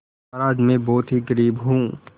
महाराज में बहुत ही गरीब हूँ